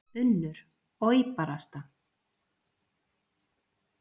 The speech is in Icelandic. UNNUR: Oj, barasta.